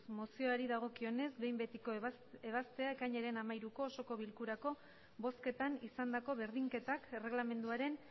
mozioari dagokionez behin betiko ebaztea ekainaren hamairuko osoko bilkurako bozketan izandako berdinketak erregelamenduaren